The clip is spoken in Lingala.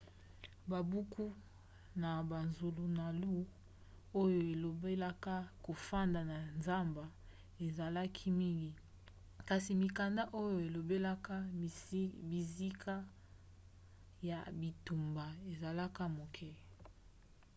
babuku na bazulunalu oyo elobelaka kofanda na zamba ezalaka mingi kasi mikanda oyo elobelaka bisika ya bitumba ezalaka moke